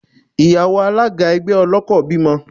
Ìyàwó Alága ẹgbẹ́ ọlọ́kọ̀ bímọ.